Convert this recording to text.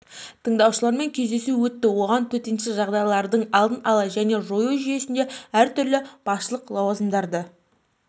тыңдаушыларымен кездесуі өтті оған төтенше жағдайлардың алдын алу және жою жүйесінде әр түрлі басшылық лауазымдарды